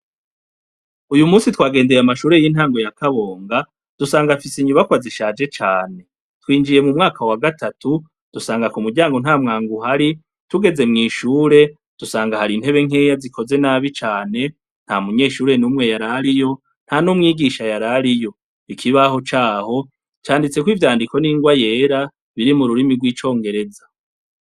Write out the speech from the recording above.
Uyumunsi twagendeye amashure y'intango ya kabonga, dusanga afise inyubakwa zishaje cane. Twinjiye m'umwaka wa gatatu, dusanga k'umuryango ntamwango uhari, tugeze mw'ishure dusanga har'intebe nkeya zikoze nabi cane. Ntamunyeshure n'umwe yar'ariyo, nta n'umwigisha yar'ariyo. Ikibaho caho canditseko ivyandiko n'ingwa yera, biri m'ururimi rw'icongereza.